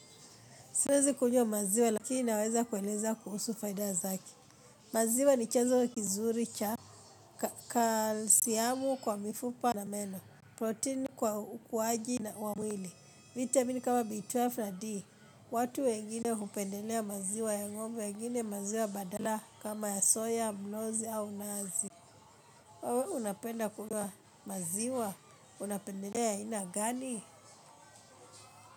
Siwezi kunywa maziwa lakini naweza kueleza kuhusu faida zake. Maziwa ni chanzo kizuri cha kalsiyamu kwa mifupa na meno, proteni kwa ukuaji na wa mwili, vitamin kama B12 na D, watu wengine hupendelea maziwa ya ngombe wengine maziwa badala kama ya soya, mnozi au nazi. Unapenda kunywa maziwa, unapendelea ya aina gani?